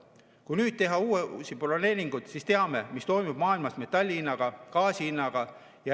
Kui nüüd teha uusi broneeringuid, siis teame, mis toimub maailmas metalli hinnaga, gaasi hinnaga.